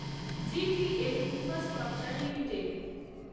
GTL infrastructure limited